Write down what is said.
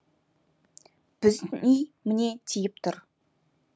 біздің үй міне тиіп тұр